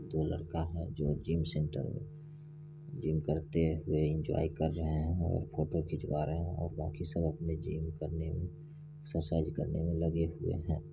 दो लड़का है जो जिम सेंटर जिम करते हुऐ इन्जॉय कर रहे है और फोटो खिचवा रहे है और बाकी सब अपने जिम करने मे ससज करने मे लगे हुऐ है।